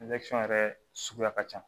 yɛrɛ suguya ka ca